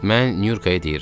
Mən Nurkaya deyirəm.